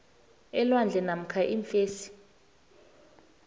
elwandle namkha iimfesi